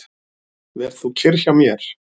Ver þú kyrr hjá mér.